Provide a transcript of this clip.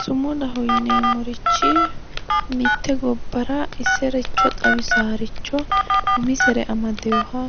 Sumudaho yineemmorichi mitte gobbara isericho xawissannoricho umisere amadeeha